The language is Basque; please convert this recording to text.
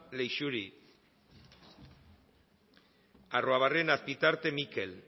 leixuri arruabarrena azpitarte mikel